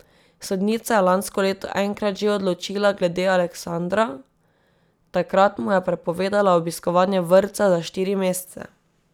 Sodnica je lansko leto enkrat že odločila glede Aleksandra, takrat mu je prepovedala obiskovanje vrtca za štiri mesece.